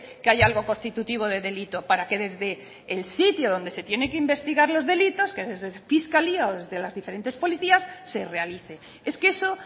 que hay algo constitutivo de delito para que desde el sitio donde se tiene que investigar los delitos que desde fiscalía o desde las diferentes policías se realice es que eso